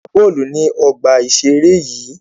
A lè gbà bọ́ọ̀lù ní ọgbà ìseré yìí